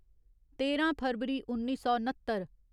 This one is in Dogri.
तेरां फरवरी उन्नी सौ नत्तर